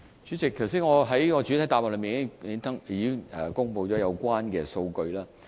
主席，我剛才在主體答覆已公布了有關數據。